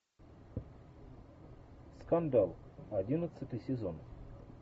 скандал одиннадцатый сезон